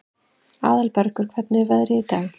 Aðalbergur, hvernig er veðrið í dag?